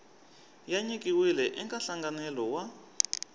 ya nyikiwile eka nhlanganelo wa